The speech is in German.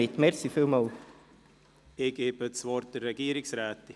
Ich erteile das Wort der Regierungsrätin.